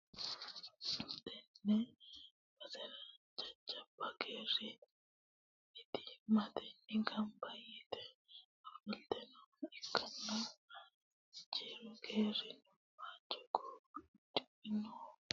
tenne basera jajjabbu geeri mittimmatenni gamba yite ofolte nooha ikkanna, juri geerino waajjo gaawe uddidhe noore ikkanna, insara badheenni hihe leemmichunni huxxinoonni huxxi no.